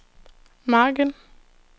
margen